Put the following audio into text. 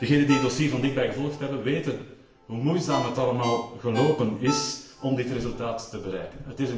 Degenen die het dossier van dichtbij gevolgd hebben, weten hoe moeizaam het allemaal verlopen is om dit resultaat te bereiken.